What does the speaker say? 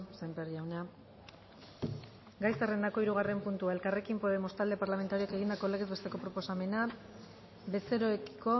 sémper jauna gai zerrendako hirugarren puntua elkarrekin podemos talde parlamentarioak egindako legez besteko proposamena bezeroekiko